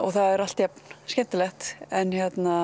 það er alltaf jafn skemmtilegt en